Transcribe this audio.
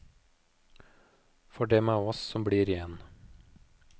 For dem av oss som blir igjen.